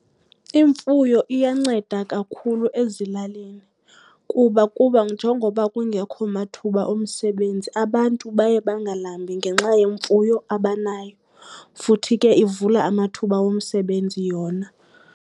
Imfuyo iyanceda kakhulu ezilalini kuba kuba, njengoba kungekho mathuba omsebenzi abantu baye bangalambi ngenxa yemfuyo abanayo, futhi ke ivula amathuba womsebenzi yona.